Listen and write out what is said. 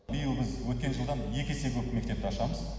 биыл біз өткен жылдан екі есе көп мектепті ашамыз